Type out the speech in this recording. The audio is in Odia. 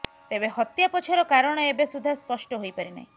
ତେବେ ହତ୍ୟା ପଛର କାରଣ ଏବେ ସୁଦ୍ଧା ସ୍ପଷ୍ଟ ହୋଇପାରି ନାହିଁ